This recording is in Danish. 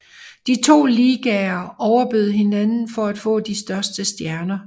De to ligaer overbød hinanden for at få de største stjerner